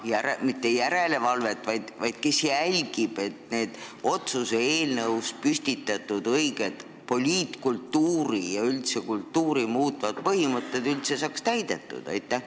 Kes üldse hakkab jälgima, et otsuse eelnõus püstitatud õiged poliitkultuuri ja üldse kultuuri muutvad põhimõtted saaksid täidetud?